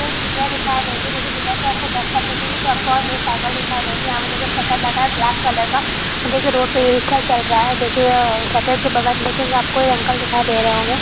यहाँ एक ठेला दिखाई देंगी। ठेला के बैक साइड देखेंगे तो आपको और दो साइकिल दिखाई दे गे। यहा पर शटल लगा है ब्लैक कलर का और देखिए रोड पे एक रिक्शा चल रहा है। देखिए शटल के बगल मे कोई अंकल देखाई दे रहे होंगे।